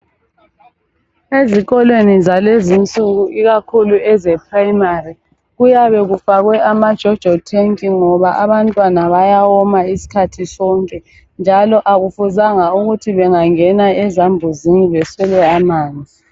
Ezikolweni zalezi insuku ikakhulu ezePrimary kuyabe kufakwe amajojo tank ngoba abantwana bayawoma isikhathi sonke. Njalo akufuzanga ukuthi bengangena ezambuzini beswele amanzi.